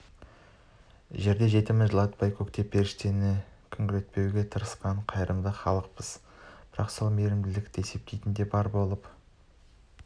жерде жетімін жылатпай көкте періштені күңірентпеуге тырысқан қайырымды халықпыз бірақ сол мейірімділікті де есептейтіндер бар болып